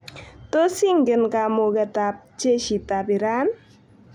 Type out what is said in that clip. Tos ingen kamuketab jeshitab Iran?